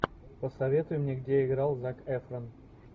посоветуй мне где играл зак эфрон